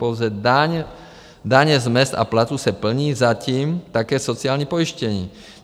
Pouze daně z mezd a platů se plní, zatím, také sociální pojištění.